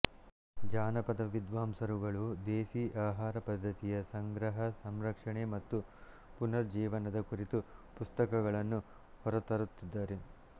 ಜಾನಪದ ವಿದ್ವಾಂಸರುಗಳು ದೇಸೀ ಆಹಾರ ಪದ್ಧತಿಯ ಸಂಗ್ರಹ ಸಂರಕ್ಷಣೆ ಮತ್ತು ಪುನರುಜ್ಜೀವನದ ಕುರಿತು ಪುಸ್ತಕಗಳನ್ನು ಹೊರತರುತ್ತಿದ್ದಾರೆ